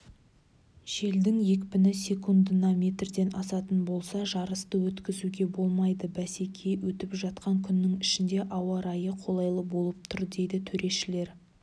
желдің екпіні секундына метрден асатын болса жарысты өткізуге болмайды бәсеке өтіп жатқан күннің ішінде ауа райы қолайлы болып тұр дейді төрешілер